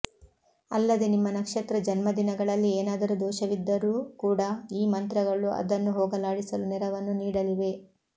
ಅಲ್ಲದೆ ನಿಮ್ಮ ನಕ್ಷತ್ರ ಜನ್ಮದಿನಗಳಲ್ಲಿ ಏನಾದರೂ ದೋಷವಿದ್ದರೂ ಕೂಡ ಈ ಮಂತ್ರಗಳು ಅದನ್ನು ಹೋಗಲಾಡಿಸಲು ನೆರವನ್ನು ನೀಡಲಿವೆ